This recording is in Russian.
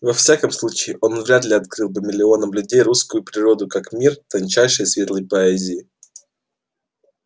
во всяком случае он вряд ли открыл бы миллионам людей русскую природу как мир тончайшей и светлой поэзии